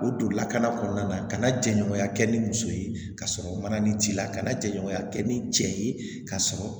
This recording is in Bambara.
U don lakana kɔnɔna na ka na jɛɲɔgɔnya kɛ ni muso ye ka sɔrɔ mana ni t'i la kana jɛɲɔgɔnya kɛ ni cɛ ye ka sɔrɔ